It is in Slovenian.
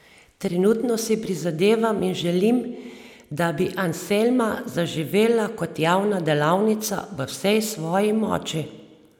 Trenutno si prizadevam in želim, da bi Anselma zaživela kot javna delavnica v vsej svoji moči.